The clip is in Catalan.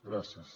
gràcies